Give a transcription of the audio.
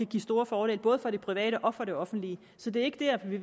give store fordele både for det private og det offentlige så det er ikke dér vi